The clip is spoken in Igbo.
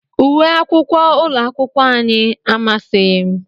Uwe akwụkwọ ụlọakwụkwọ anyị amasịghị m